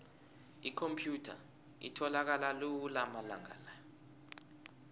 ikhomphyutha itholakala lula amalanga la